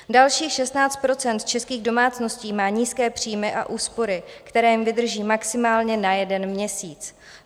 Dalších 16 % českých domácností má nízké příjmy a úspory, které jim vydrží maximálně na jeden měsíc.